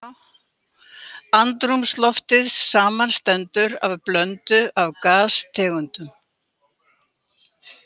Andrúmsloftið samanstendur af blöndu af gastegundum.